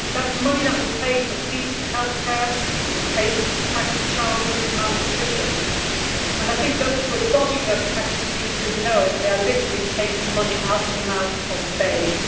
That is money that would pay for decent healthcare, and it would pay to tackle childhood malnutrition. I think those who are dodging those taxes need to know that they are literally taking money out of the mouths of babes.